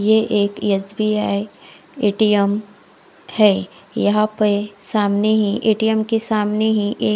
ये एक S B I A T M है यहा पे सामने ही ए_टी_ऍम के सामने ही एक--